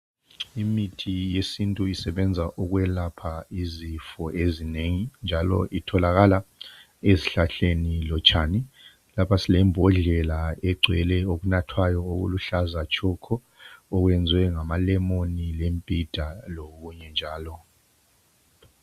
Imithi yesintu isebenza ukwelapha izifo ezinengi njalo itholakala ezihlahleni lotshani lapha silembodlela egcwele okunathwayo okuluhlaza tshoko okwenziwe ngamalemoni lembhida lokunye njalo .